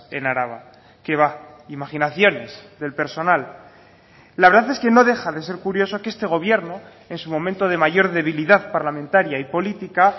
en araba qué va imaginaciones del personal la verdad es que no deja de ser curioso que este gobierno en su momento de mayor debilidad parlamentaria y política